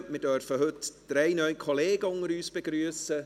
Heute dürfen wir drei neue Kollegen unter uns begrüssen.